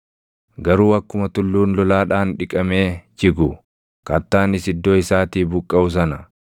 “Garuu akkuma tulluun lolaadhaan dhiqamee jigu, kattaanis iddoo isaatii buqqaʼu sana,